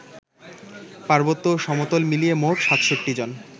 পার্বত্য ও সমতল মিলিয়ে মোট ৬৭ জন